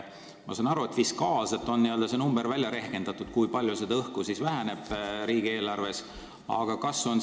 Ma saan aru, et fiskaalselt on välja rehkendatud, kui palju seda õhku nüüd riigieelarves vähemaks jääb.